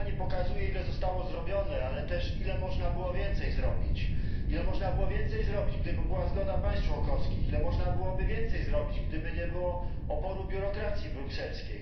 sprawozdanie pokazuje, ile zostało zrobione, ale też, ile można było więcej zrobić, ile można było więcej zrobić, gdyby była zgoda państw członkowskich, ile można byłoby więcej zrobić, gdyby nie było oporu biurokracji brukselskiej.